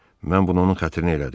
Mən bunu onun xətrinə elədim.